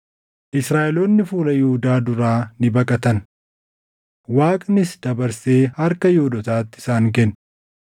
Israaʼeloonni fuula Yihuudaa duraa ni baqatan; Waaqnis dabarsee harka Yihuudootaatti isaan kenne.